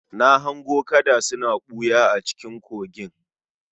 Na hango kada suna ɓuya a cikin kogin